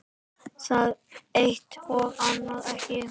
Það eitt- og annað ekki.